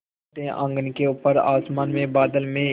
छोटे आँगन के ऊपर आसमान में बादल में